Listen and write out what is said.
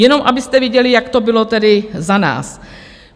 Jenom abyste viděli, jak to bylo tedy za nás.